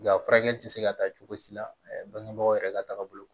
Nga a furakɛ tɛ se ka taa cogo si la bangebaaw yɛrɛ ka tagabolo